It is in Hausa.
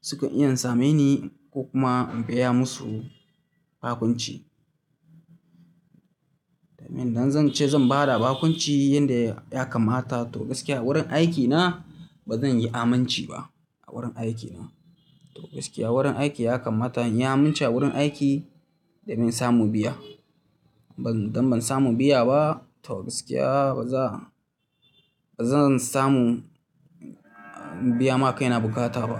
suka iya sameni ko kuma in biya musu bakunci. Domin idan zan ce zan bada bakunci yanda ya kammata to gaskiya a wurin aikina bazan yi amanci ba a wurin aikina. To gaskiya wurin aiki ya kammata in yi amince a wurin aiki da me in samun biya. Ban, idan ban samu biya ba, to gaskiya baza, bazan samu biya ma kaina bukata ba.